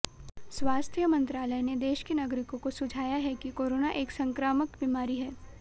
स्वास्थ्य मंत्रालय ने देश के नागरिकों को सुझाया है कि कोरोना एक संक्रामक बीमारी है